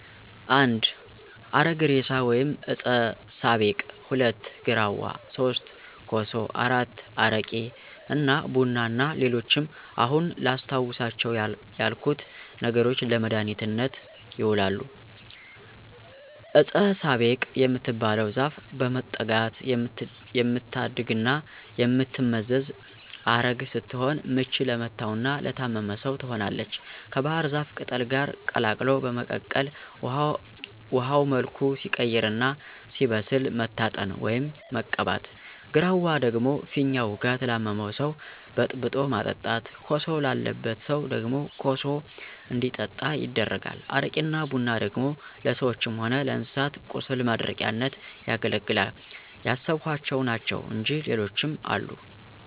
1. አረግ እሬሳ ወይም ዕጸ ሳቤቅ፣ 2. ግራዋ፣ 3. ኮሶ፣ 4. አረቂ እና ቡና እና ሌሎችም አሁን አላስታውሳቸው ያልኩት ነገሮች ለመድሀኒትነት ይውላሉ። ዕጸ ሳቤቅ የምትባለው ዛፍ በመጠጋት የምታድግና የምትመዘዝ ዐረግ ስትሆን ምች ለመታውና ለታመመ ሰው ትሆናለች ከባሕር ዛፍ ቅጠል ጋር ቀላቅሎ በመቀቀል ውሀው መልኩ ሲቀይርና ሲበስል መታጠን፣ ወይም መቀባት። ግራዋ ደግሞ ፊኛ ውጋት ላመመው ሰው በጥብጦ ማጠጣት። ኮሶ ላለበት ሰው ደግሞ ኮሱ እንዲጠጣ ይደረጋል። አረቂና ቡና ደግሞ ለሰዎችም ሆነ ለእንስሳት ቁስል ማድረቂያነት ያገለግላል። ያሰብኋቸው ናቸው እንጅ ሌሎችም አሉ።